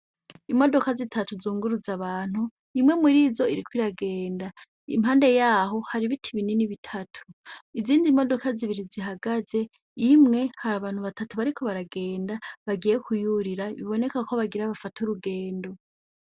Imodoka zitatu zunguruza abantu imwe murizo iriko iragenda impande yaho hari ibiti binini bitatu izindi modoka zibiri zihagaze, imwe hari abantu batatu bariko baragenda bagiye kuyurira biboneka ko bagira bafate urugendo.